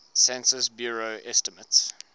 census bureau estimates